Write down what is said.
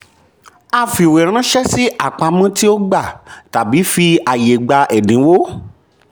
a fìwéránṣẹ́ sí àpamọ́ tí ó gba/tabi fi àyè gba ẹ̀dínwó.